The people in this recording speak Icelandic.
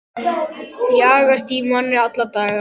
Jagast í manni alla daga.